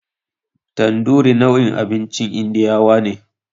Tanduri nau'in abincin indiyawa ne.